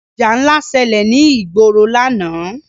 Ìjà ńlá ṣẹlẹ̀ ní ìgboro lánàá.